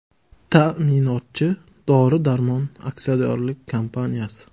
Ta’minotchi Dori-Darmon aksiyadorlik kompaniyasi.